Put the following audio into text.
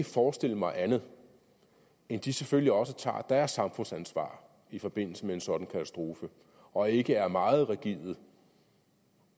forestille mig andet end at de selvfølgelig også tager deres samfundsansvar i forbindelse med en sådan katastrofe og ikke er meget rigide